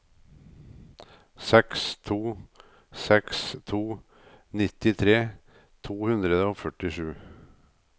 seks to seks to nittitre to hundre og førtisju